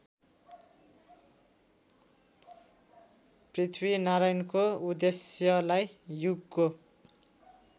पृथ्वीनारायणको उद्देश्यलाई युगको